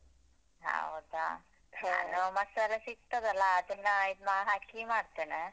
ಹೌದಾ ಮಸಾಲೆ ಸಿಗ್ತದಲ್ಲಾ ಅದನ್ನ ಇದ್ ಮ~ ಹಾಕಿ ಮಾಡ್ತೆನೆ.